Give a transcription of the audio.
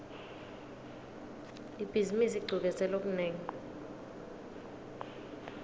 ibhizimisi icuketse lokunengi